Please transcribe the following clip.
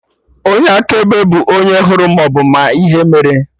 Onye akaebe bụ onye hụrụ maọbụ ma ihe mere